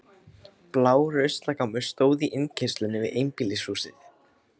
Blár ruslagámur stóð í innkeyrslunni við einbýlishús